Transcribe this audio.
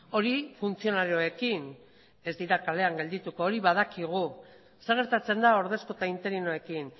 hori funtzionarioekin ez dira kalean geldituko hori badakigu zer gertatzen da ordezko eta interinoekin